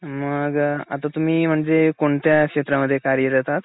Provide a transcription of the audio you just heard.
मग आता तुम्ही म्हणजे कोणत्या क्षेत्रामध्ये कार्यरत आहात?